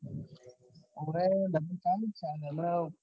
હોવે હમણા